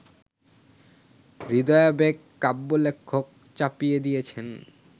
হৃদয়াবেগ কাব্যলেখক চাপিয়ে দিয়েছেন